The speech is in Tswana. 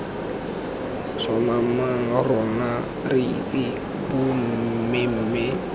sssoomamang rona re itse bommemme